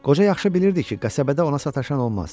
Qoca yaxşı bilirdi ki, qəsəbədə ona sataşan olmaz.